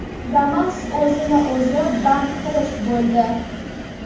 Damas o‘zini o‘zi band qilish bo‘ldi.